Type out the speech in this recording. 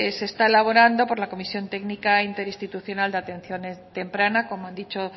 se está elaborando por la comisión técnica interinstitucional de atención temprana como han dicho